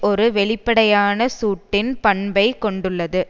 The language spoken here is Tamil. ஒரு வெளிப்படையான சூட்டின் பண்பைக் கொண்டுள்ளது